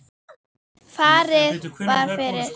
Farið var fyrir